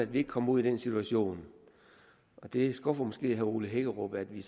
vi ikke kommer i den situation og det skuffer måske herre ole hækkerup at vi